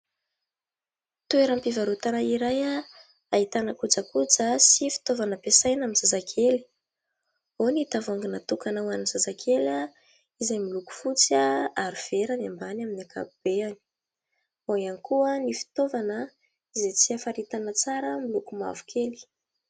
Toeram-pivarotana iray ahitana kojakoja sy fitaovana ampiasaina amin'ny zazakely : ao ny tavoahangy natokana ho an'ny zazakely izay miloko fotsy ary vera ny ambany amin'ny ankapobeany, ao ihany koa ny fitaovana izay tsy hay faritana tsara miloko mavokely.